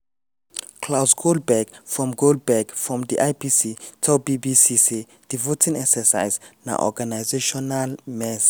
claus goldbeck from goldbeck from di ipc tell bbc say di voting exercise na "organisational mess". um